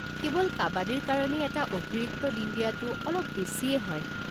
কেৱল কাবাদীৰ কাৰণেই এটা অতিৰিক্ত দিন দিয়াটো অলপ বেছিয়েই হয়।